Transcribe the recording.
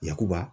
Yakuba